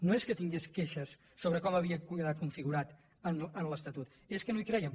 no és que tingués queixes sobre com havia quedat configurat en l’estatut és que no hi creien